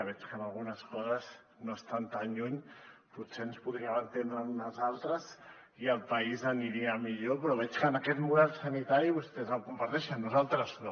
veig que en algunes coses no estan tan lluny potser ens podríem entendre en unes altres i el país aniria millor però veig que aquest model sanitari vostès el comparteixen nosaltres no